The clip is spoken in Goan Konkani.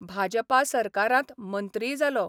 भाजपा सरकारांत मंत्रीय जालो.